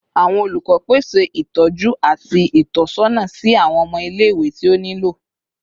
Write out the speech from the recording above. Awọn olukọ pese itọju ati itọsọna si awọn ọmọ ile-iwe ti o nilo